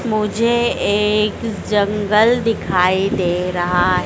मुझे एक जंगल दिखाई दे रहा--